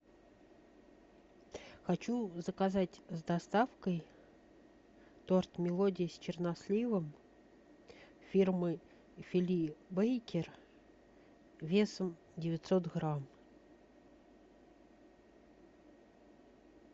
хочу заказать с доставкой торт мелодия с черносливом фирмы фили бейкер весом девятьсот грамм